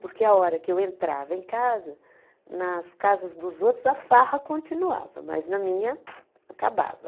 Porque a hora que eu entrava em casa, nas casas dos outros a farra continuava, mas na minha acabava.